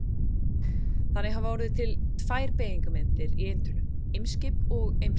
Þannig hafa orðið til tvær beygingarmyndir í eintölu: Eimskip og Eimskipi.